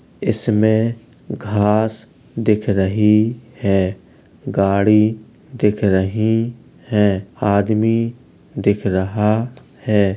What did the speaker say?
इसमें घास दिख रही है गाड़ी दिख रही हैं आदमी दिख रहा है।